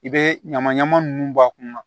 I bɛ ɲaman ɲaman nunnu bɔ a kunna